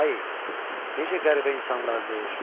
Hay, necə qəribə insanlardır!